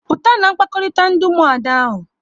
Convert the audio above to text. Pụta na mkpakọrịta ndị Ụmụada ahụ!